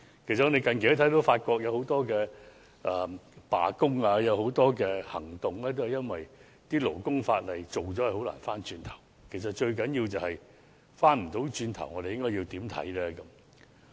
我們近期看到法國有很多罷工行動，都是因為勞工法例制定後很難回頭，而最重要的是，如果不能回頭的話，我們應該如何看待這事呢？